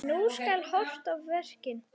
Nú skal horft á verkin.